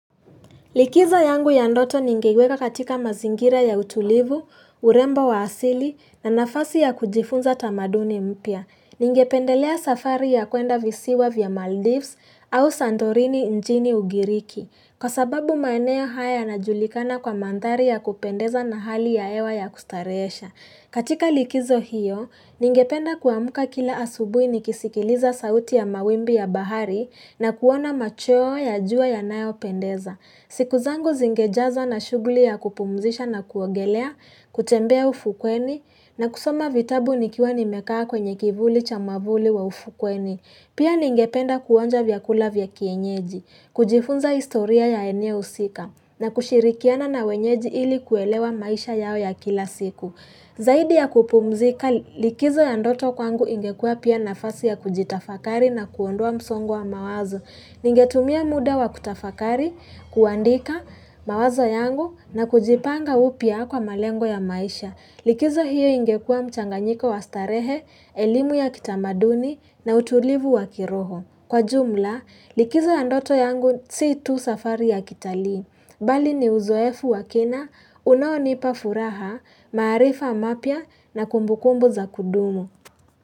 Likizo yangu ya ndoto ningeiweka katika mazingira ya utulivu, urembo wa asili na nafasi ya kujifunza tamaduni mpya. Ningependelea safari ya kuenda visiwa vya Maldives au Santorini nchini ugiriki. Kwa sababu maeneo haya yanajulikana kwa manthari ya kupendeza na hali ya hewa ya kustareesha. Katika likizo hiyo, ningependa kuamka kila asubui nikisikiliza sauti ya mawimbi ya bahari na kuona machoo ya jua yanayopendeza. Siku zangu zingejaza na shughuli ya kupumzisha na kuongelea, kutembea ufukweni, na kusoma vitabu nikiwa nimekaa kwenye kivuli cha mavuli wa ufukweni. Pia ningependa kuonja vyakula vya kienyeji, kujifunza historia ya eneo usika, na kushirikiana na wenyeji ili kuelewa maisha yao ya kila siku. Zaidi ya kupumzika likizo ya ndoto kwangu ingekua pia nafasi ya kujitafakari na kuondoa msongo wa mawazo. Ningetumia muda wa kutafakari kuandika mawazo yangu na kujipanga upya kwa malengo ya maisha. Likizo hiyo ingekua mchanganyiko wa starehe, elimu ya kitamaduni na utulivu wa kiroho. Kwa jumla, likizo ya ndoto yangu si tu safari ya kitalii. Bali ni uzoefu wa kina, unaonipa furaha, maarifa mapya na kumbukumbu za kudumu.